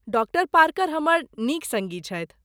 Doctor Parker हमर नीक सड़्गी छथि।